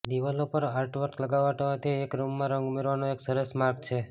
દિવાલો પર આર્ટવર્ક લટકાવવાથી એક રૂમમાં રંગ ઉમેરવાનો એક સરસ માર્ગ છે